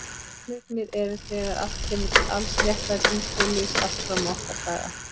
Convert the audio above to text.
Barneignir eru þegar allt kemur til alls réttlæting kynlífs allt fram á okkar daga.